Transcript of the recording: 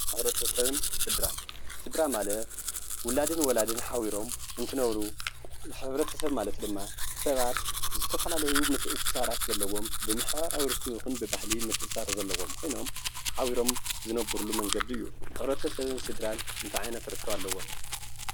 ሕብረተሰብን ስድራን ስድራ ማለት ውላድን ወላድን ሓቢሮም እንትነብሩ ሕብረተሰብ ማለት ድማ ሰባት ዝተፈላለዩ ምትእስሳራት ዘለዋም ብሓበራዊ ርክብ ይኹን ብባህሊ ምትእስሳር ዘለዎም ኮይኖም ሓቢሮም ዝነብርሉ መንገዲ እዩ። ሕብረተሰብን ስድራን እንታይ ዓይነት ርክብ ኣለዎም?